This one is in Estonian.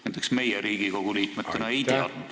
Näiteks meie Riigikogu liikmetena sellest ei teadnud.